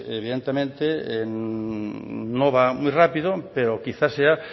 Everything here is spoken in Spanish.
evidentemente no va muy rápido pero quizá sea